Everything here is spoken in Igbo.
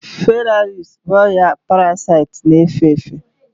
Filariasis bụ ọrịa parasaịtị na-efe efe